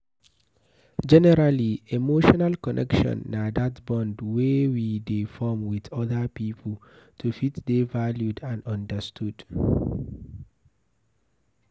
Generally, emotional connection na that bond wey we dey form with oda pipo to fit dey valued and understood